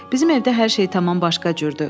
Bizim evdə hər şey tamam başqa cürdür.